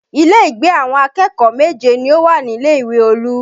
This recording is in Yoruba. Ilé ìgbé àwọn akẹ́kọ̀ọ́ méje ni ó wà nílé ìwé Olú